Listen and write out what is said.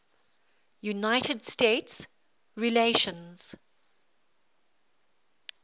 united states relations